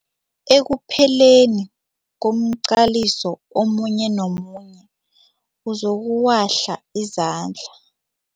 Ekupheleni komqaliso omunye nomunye uzokuwahla izandla.